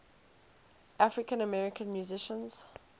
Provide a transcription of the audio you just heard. african american musicians